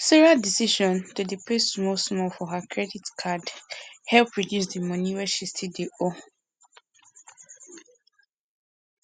sarah decision to dey pay small small for her credit card help reduce di money wey she still dey owe